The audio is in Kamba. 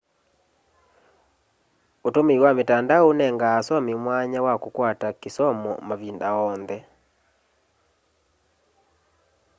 ûtũmĩĩ wa mitandao ũnenga asomĩ mwanya wa kũkwata kĩsomo mavĩnda onthe